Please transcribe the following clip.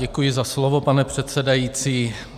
Děkuji za slovo, pane předsedající.